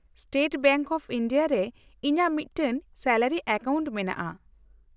-State bank of India ᱨᱮ ᱤᱧᱟᱹᱜ ᱢᱤᱫᱴᱟᱝ ᱥᱮᱞᱟᱨᱤ ᱮᱠᱟᱣᱩᱱᱴ ᱢᱮᱱᱟᱜᱼᱟ ᱾